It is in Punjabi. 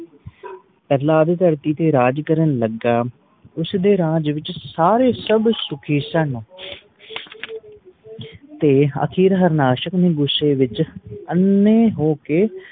ਪ੍ਰਹਲਾਦ ਧਰਤੀ ਤੇ ਰਾਜ ਕਰਨ ਲੱਗਾ ਉਸਦੇ ਰਾਜ ਵਿਚ ਸਾਰੇ ਸਰਵ ਸੁਖੀ ਸਨ ਤੇ ਅਖੀਰ ਹਾਰਨਾਸ਼ਕ ਨੂੰ ਗੁੱਸੇ ਵਿਚ ਅੰਨ੍ਹੇ ਹੋਕੇ